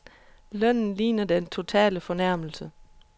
Lønnen ligner den totale fornærmelse.